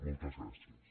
moltes gràcies